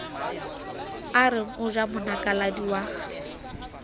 areng o ja monakaladi wa